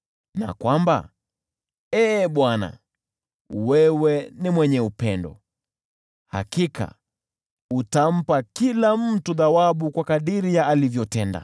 na kwamba, Ee Bwana , wewe ni mwenye upendo. Hakika utampa kila mtu thawabu kwa kadiri ya alivyotenda.